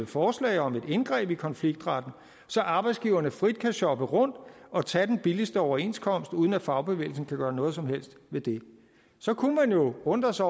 forslag om et indgreb i konfliktretten så arbejdsgiverne frit kan shoppe rundt og tage den billigste overenskomst uden at fagbevægelsen kan gøre noget som helst ved det så kunne man jo undre sig